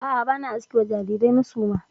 A'a, ba na aske wa jarirai na suma.